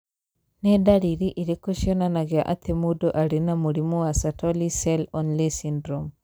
Nĩ ndariri irĩkũ cionanagia atĩ mũndũ arĩ na mũrimũ wa Sertoli cell only syndrome?